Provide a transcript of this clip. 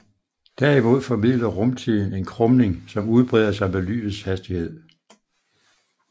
Derimod formidler rumtiden en krumning som udbreder sig med lysets hastighed